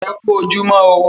E kú ojúmọ́ o.